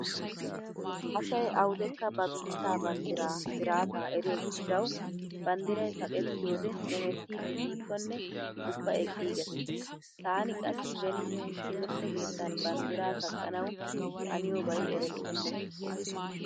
Asay awudekka ba biittaa banddiraa siraataa eriyo gishshawu banddiray kaqettiyode hemettiiddi diikkonne ubba eqqiiggees. Taani qassi beni timirtte keettan banddiraa kaqqanawu haniyobay erettenna.